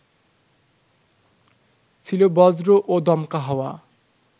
ছিল বজ্র ও দমকা হাওয়া